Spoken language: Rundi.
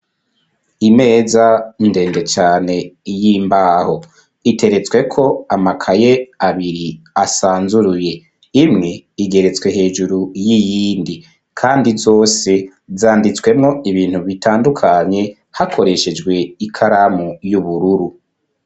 Imeza, ndende cane, y'imbaho; iteretsweko, amakaye abiri, asanzuruye; imwe, igeretswe hejuru y'iyindi; kandi zose, zanditswemwo, ibintu bitandukanye, hakoreshejwe, ikaramu y'ubururu.